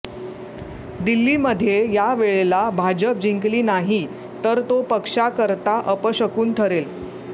दिल्लीमध्ये या वेळेला भाजप जिंकली नाही तर तो पक्षाकरता अपशकुन ठरेल